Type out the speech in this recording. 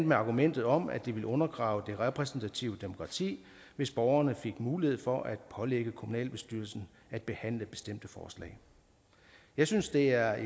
med argumentet om at det ville undergrave det repræsentative demokrati hvis borgerne fik mulighed for at pålægge kommunalbestyrelsen at behandle bestemte forslag jeg synes det er